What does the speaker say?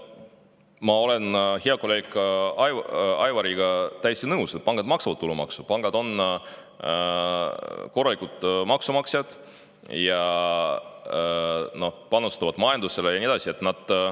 Ma olen hea kolleegi Aivariga täiesti nõus, et pangad maksavad tulumaksu, pangad on korralikud maksumaksjad, panustavad majandusse ja nii edasi.